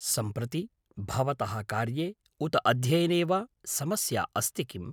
सम्प्रति भवतः कार्ये उत अध्ययने वा समस्या अस्ति किम्?